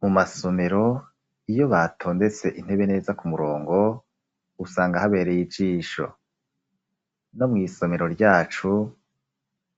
Mu masomero iyo batondetse intebe neza ku murongo usanga habereye ijisho, no mw'isomero ryacu